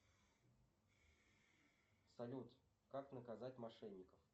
салют как наказать мошенников